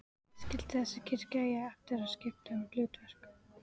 Skyldi þessi kirkja eiga eftir að skipta um hlutverk?